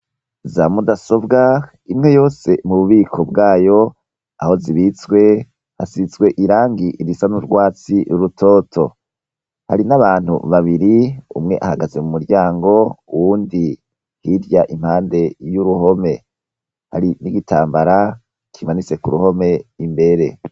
Za mudasobwa imwe yose mu bubiko bwayo aho zibitswe hasitswe irangi irisa n'urwatsi r'urutoto hari n'abantu babiri umwe ahagaze mu muryango wundi hirya impande y'uruhome hari n'igitambara kimanitse ku ruhome ime bere.